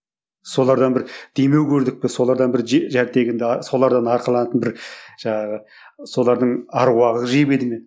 солардан бір демеу көрдік пе солардан бір солардан арқаланатын бір жаңағы солардың аруағы жебеді ме